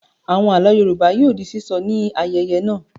Àwọn àlọ́ Yorùbá yóò di sísọ ní ayẹyẹ náà.